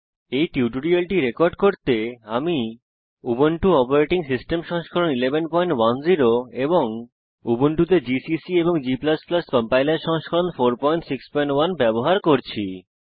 এই টিউটোরিয়ালটি রেকর্ড করতে আমি উবুন্টু অপারেটিং সিস্টেম সংস্করণ 1110 এবং উবুন্টুতে জিসিসি এবং g কম্পাইলার সংস্করণ 461 ব্যবহার করছি